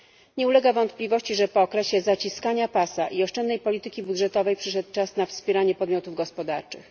Nie ulega wątpliwości, że po okresie zaciskania pasa i oszczędnej polityki budżetowej przyszedł czas na wspieranie podmiotów gospodarczych.